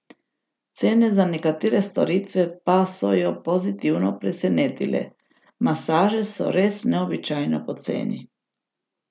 Cene za nekatere storitve pa so jo pozitivno presenetile: 'Masaže so res neobičajno poceni.